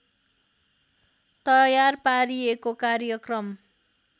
तयार पारिएको कार्यक्रम